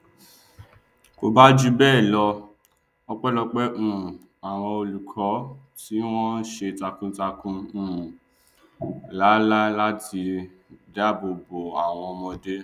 kò bá jù bẹẹ lọ ọpẹlọpẹ um àwọn olùkọ ti wọn ṣe takuntakun um làálàá láti dáàbò bo àwọn ọmọdé